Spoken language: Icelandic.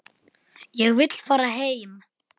Ég vil fara heim.